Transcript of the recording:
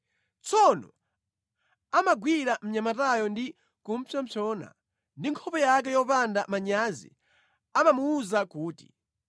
Tsono amagwira mnyamatayo ndi kupsompsona ndi nkhope yake yopanda manyazi amamuwuza kuti,